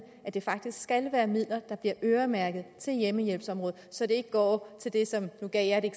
at det faktisk skal være midler der bliver øremærket til hjemmehjælpsområdet så de ikke går til det som